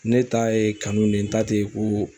Ne ta ye kanu de ye, n ta ten ko